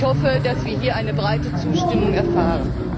Ich hoffe, dass wir hier eine breite Zustimmung erfahren!